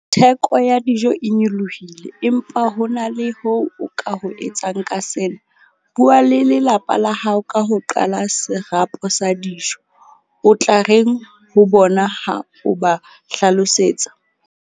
Theko ya dijo e nyolohile empa ho na le ho o ka ho etsang ka sena, bua le lelapa la hao ka ho qala serapo sa dijo. O tla reng ho bona ha o ba hlalosetsa?